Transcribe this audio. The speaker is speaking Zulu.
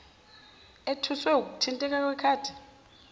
ethuswe wukuthinteka kwekhaba